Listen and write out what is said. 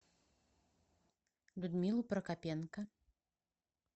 людмилу прокопенко